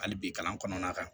Hali bi kalan kɔnɔna na